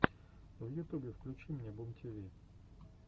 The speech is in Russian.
в ютубе включи мне бумтиви